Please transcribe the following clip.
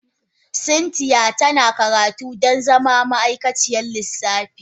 Cynthia tana karatu don zama ma'aikaciyar lissafi